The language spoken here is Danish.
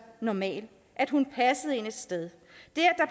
normal at hun passede ind et sted